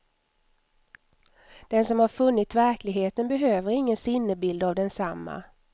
Den som har funnit verkligheten behöver ingen sinnebild av densamma.